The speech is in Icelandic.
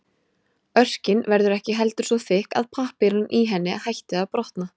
Örkin verður ekki heldur svo þykk að pappírinn í henni hætti að brotna.